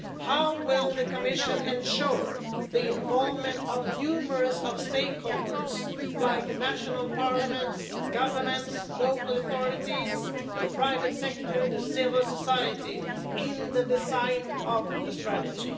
how will the Commission ensure the involvement of numerous stakeholders, like national parliaments, governments, local authorities, the private sector, civil society, in the design of the strategy?